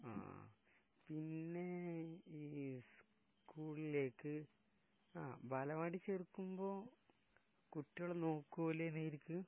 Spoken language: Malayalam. ങാ..പിന്നെ ഈ സ്കൂളിലേക്ക്...ബലവാടിൽ ചേർക്കുമ്പോ കുട്ടികളെ നോക്കൂലേ നേരിക്ക്?